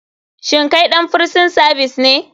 Shin kai ɗan frison savis ne?